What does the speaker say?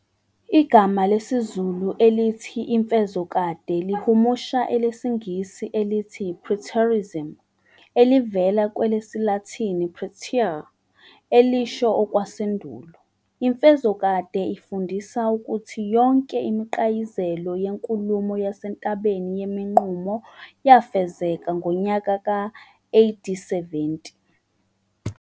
Igama lesizulu elithi "iMfezokade" lihumusha elesingisi elithi "preterism" elivela kwelesilathini "praeter", elisho okwasendulo. Imfezokade ifundisa ukuthi yonke imiqayizelo yenkulumoo yaseNtabeni yemiNqumo yafezeka ngonyaka-AD 70.